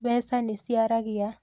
Mbeca nĩ ciaragia